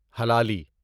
Hilali